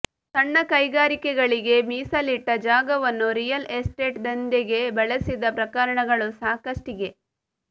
ಸಣ್ಣ ಕೈಗಾರಿಕೆಗಳಿಗೆ ಮೀಸಲಿಟ್ಟ ಜಾಗವನ್ನು ರಿಯಲ್ ಎಸ್ಟೇಟ್ ದಂಧೆಗೆ ಬಳಸಿದ ಪ್ರಕರಣಗಳು ಸಾಕಷ್ಟಿಗೆ